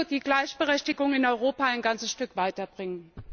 Das würde die Gleichberechtigung in Europa ein ganzes Stück weiterbringen.